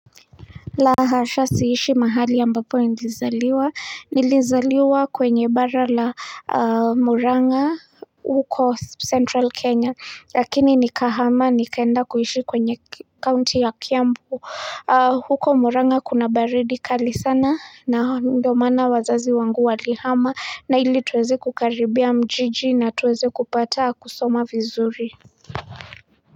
Lahasha siishi mahali ambapo nilizaliwa, nilizaliwa kwenye bara la murang'a huko central kenya lakini nikahama nikaenda kuhishi kwenye county ya kiambu huko murang'a kuna baridi kali sana na ndo maana wazazi wangu walihama na ili tuweze kukaribia jiji na tuweze kupata kusoma vizuri.